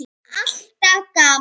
Alltaf gaman.